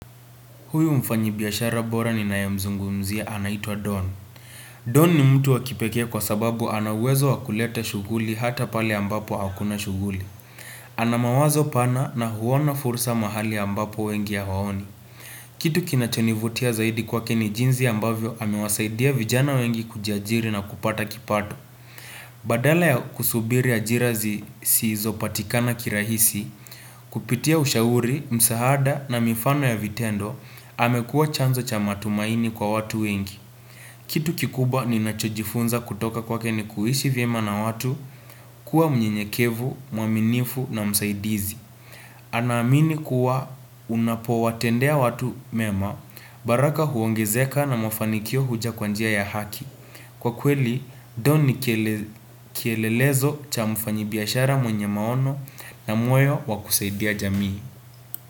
Huyu mfanyabiashara bora ninayemzungumzia anaitwa Don. Don ni mtu wa kipekee kwa sababu ana uwezo wa kuleta shughuli hata pale ambapo hakuna shughuli. Ana mawazo pana na huona fursa mahali ambapo wengi hawaoni. Kitu kinachonivutia zaidi kwake ni jinzi ambavyo amewasaidia vijana wengi kujiajiri na kupata kipato. Badala ya kusubiri ajira zi sizopatikana kirahisi, kupitia ushauri, msahaada na mifano ya vitendo, amekua chanzo cha matumaini kwa watu wengi. Kitu kikubwa ninachojifunza kutoka kwake ni kuishi vyema na watu kuwa mnyenyekevu, mwaminifu na msaidizi Anaamini kuwa unapowatendea watu mema baraka huongezeka na mafanikio huja kwa njia ya haki. Kwa kweli, Don ni kiele kilelelezo cha mfanyibiashara mwenye maono na mweo wa kusaidia jamii.